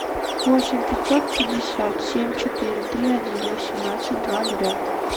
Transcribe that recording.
восемь пятьсот пятьдесят семь четыре три один восемнадцать два ноля